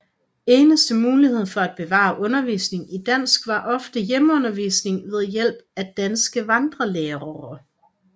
Eneste mulighed for at bevare undervisning i dansk var ofte hjemmeundervisning ved hjælp af danske vandrelærere